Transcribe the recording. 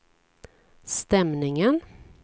stämningen